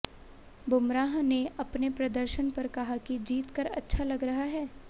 बुमराह ने अपने प्रदर्शन पर कहा कि जीतकर अच्छा लग रहा है